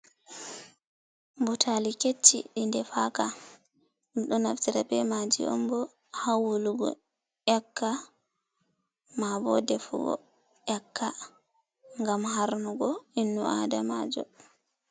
Butaali kecchi ɗi defaaka, ɓe ɗo naftira bee maaji on bo haa wulugo ƴakka, maa bo defugo ƴakka ngam harnugo innu aadamaajo.